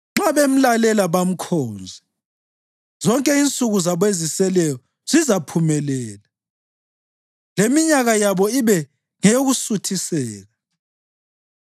Nxa bemlalela bamkhonze, zonke insuku zabo eziseleyo zizaphumelela, leminyaka yabo ibe ngeyokusuthiseka.